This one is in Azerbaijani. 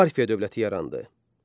Parfiya dövləti yarandı.